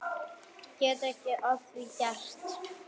Get ekki að því gert.